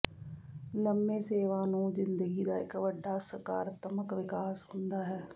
ਲੰਮੇ ਸੇਵਾ ਨੂੰ ਜ਼ਿੰਦਗੀ ਦਾ ਇਕ ਵੱਡਾ ਸਕਾਰਾਤਮਕ ਵਿਕਾਸ ਹੁੰਦਾ ਹੈ